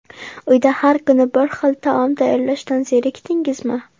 Uyda har kuni bir xil taom tayyorlashdan zerikdingizmi?